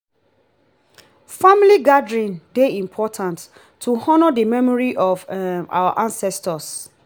family gathering dey important to honor the memory of um our ancestors.